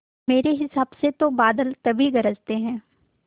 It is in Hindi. मेरे हिसाब से तो बादल तभी गरजते हैं